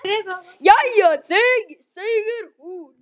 Jæja þá, segir hún.